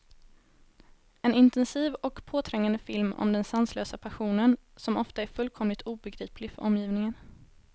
En intensiv och påträngande film om den sanslösa passionen, som ofta är fullkomligt obegriplig för omgivningen.